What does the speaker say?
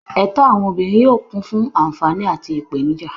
Ẹ̀tọ́ àwọn obìnrin yóò kún fún àǹfààní àti ìpèníjà.